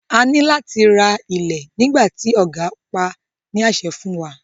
A ní láti ra ilẹ̀ nígbà tí ògá pá á ní àṣẹ fún wọn.